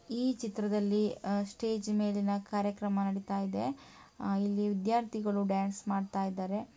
ಈ ಚಿತ್ರದಲ್ಲಿ ಸ್ಟೇಜ್ ಮೇಲಿನ ಕಾರ್ಯಕ್ರಮ ನಡಿತಾ ಇದೆ ಇಲ್ಲಿ ವಿದ್ಯಾರ್ಥಿಗಳು ಡ್ಯಾನ್ಸ್ ಮಾಡ್ತಾ ಇದ್ದಾರೆ